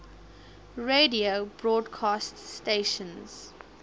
radio broadcast stations